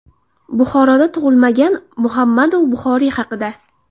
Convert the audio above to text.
Buxoroda tug‘ilmagan Muhammadu Buxoriy haqida.